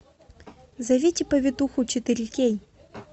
зовите повитуху четыре кей